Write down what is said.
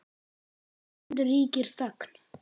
Um stund ríkir þögn.